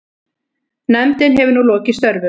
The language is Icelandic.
Nefndin hefur nú lokið störfum.